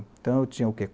Então, eu tinha o quê?